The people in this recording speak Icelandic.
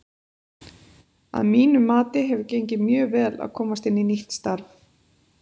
Að mínu mati hefur gengið mjög vel að komast inn í nýtt starf.